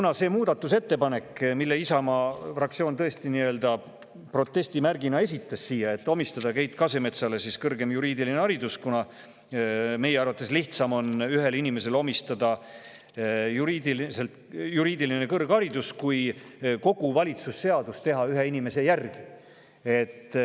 Aga selle muudatusettepaneku, et omistada Keit Kasemetsale kõrgem juriidiline haridus, esitas Isamaa fraktsioon tõesti protestimärgina, sest meie arvates on lihtsam anda ühele inimesele juriidiline kõrgharidus, kui teha kogu valitsusseadus ringi ühe inimese järgi.